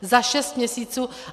Za šest měsíců.